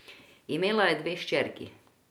Imela je dve hčerki.